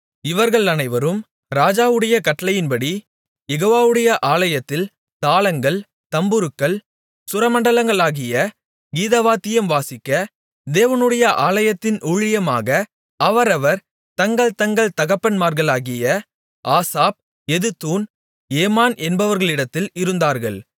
இவர்கள் அனைவரும் ராஜாவுடைய கட்டளைப்படிக் யெகோவாவுடைய ஆலயத்தில் தாளங்கள் தம்புருக்கள் சுரமண்டலங்களாகிய கீதவாத்தியம் வாசிக்க தேவனுடைய ஆலயத்தின் ஊழியமாக அவரவர் தங்கள் தங்கள் தகப்பன்மார்களாகிய ஆசாப் எதுத்தூன் ஏமான் என்பவர்களிடத்தில் இருந்தார்கள்